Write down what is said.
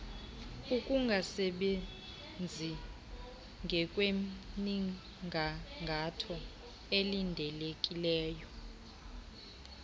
ukungasebenzi ngokwemnigangatho elindelekileyo